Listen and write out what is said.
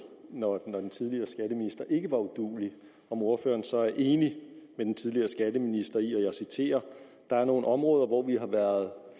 når den tidligere skatteminister ikke var uduelig om ordføreren så er enig med den tidligere skatteminister i og jeg citerer der er nogle områder hvor vi har været